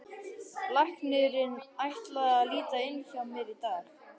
Læknirinn ætlar að líta inn hjá mér í dag.